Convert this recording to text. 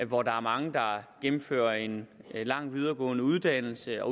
hvor der er mange der gennemfører en lang videregående uddannelse og